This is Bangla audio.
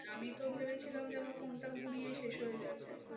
আমিতো ভেবেছিলাম যে আমার phone টা গুড়িয়ে শেষ হয়ে গেছে।